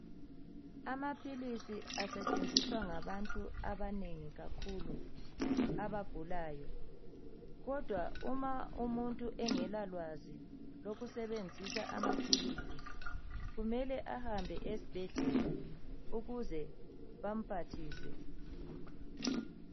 Amaphilisi asetshenziswa ngabantu abanengi kakhulu abagulayo kodwa uma umuntu engela lwazi lokusebenzisa amaphilisi kumele ahambe esibhedlela ukuze bamphathise.